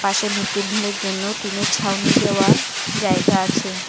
পাশে mid day মিলের জন্য টিনের ছাউনি দেওয়া জায়গা আছে।